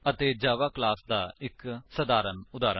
ਅਤੇ Java class ਦਾ ਇੱਕ ਸਧਾਰਨ ਉਦਾਹਰਨ